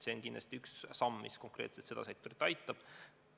See on kindlasti üks samm, mis konkreetselt seda sektorit aitab.